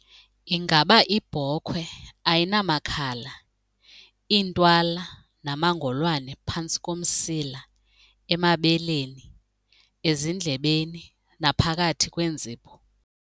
Ingaba ibhokhwe ayinamakhala, iintwala namangolwane phantsi komsila, emabeleni, ezindlebeni naphakathi kweenzipho?